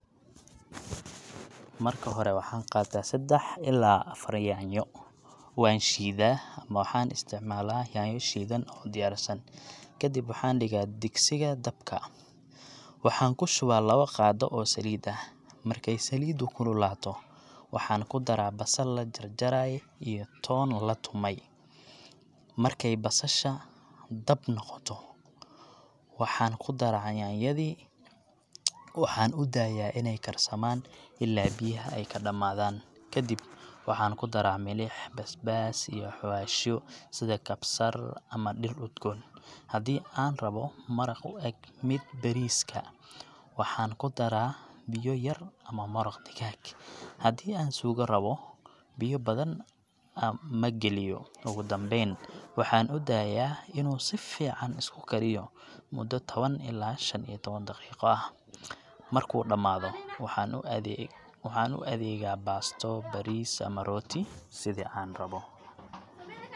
Marka hore, waxaan qaataa seddax ilaa afar yaanyo, waan shiidaa ama waxaan isticmaalaa yaanyo shiidan oo diyaarsan. Kadib waxaan dhigaa digsiga dabka, waxaan ku shubaa labo qaado oo saliid ah. Markay saliiddu kululaato, waxaan ku daraa basal la jarjaraay iyo toon la tumay. Marki ay basasha dahab noqoto, waxaan ku daraa yaanyadii. Waxaan u daayaa inay karsamaan ilaa biyaha ay ka dhammaadaan. Kadib waxaan ku daraa milix, basbaas, iyo xawaashyo sida kabsar ama dhir udgoon. Haddii aan rabbo maraq u eg midka bariiska, waxaan ku daraa biyo yar ama maraq digaag. Haddii aan suugo rabbo, biyo badan ma geliyo. Ugu dambeyn, waxaan u daayaa inuu si fiican isku kariyo muddo tawan ilaa shan iyo tawan daqiiqo ah. Markuu dhamaado, waxaan u adee..,adeegaa baasto, bariis, ama rooti — sidii aan rabo.